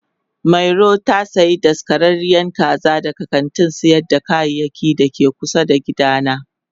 Mario ta sayi daskararren kaza daga kantin sayar da kayayyaki da ke kusa da gidana.